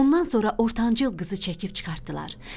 Ondan sonra ortancıl qızı çəkib çıxartdılar.